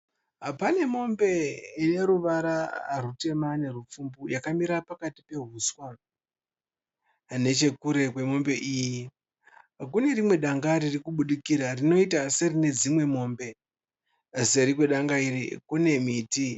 Pane mombe yeruvara rutema nehupfumbu , yakamira pakati pehuswa nechekure kwe mombe iyi kune rimwe danga riri kubudikira rinoita kunge rine dzimwe mombe . Seri kwe danga iri kune miti.